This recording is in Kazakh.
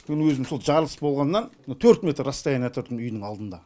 мен өзім сол жарылыс болғаннан мына төрт метр расстояние тұрдым үйдің алдында